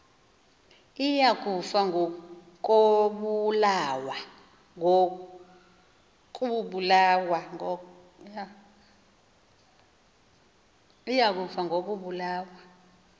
iya kufa ngokobulawa